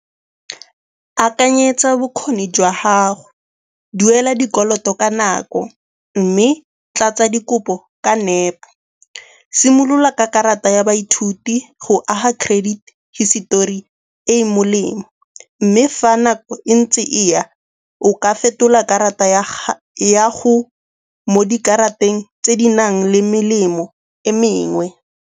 Akanyetsa bokgoni jwa gago, duela dikoloto ka nako mme tlatsa dikopo ka nepo. Simolola ka karata ya baithuti go aga credit hisetori e e molemo, mme fa nako e ntse e ya o ka fetola karata ya go mo dikarata eng tse di nang le melemo e mengwe.